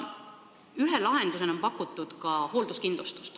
Ühe lahendusena on pakutud hoolduskindlustust.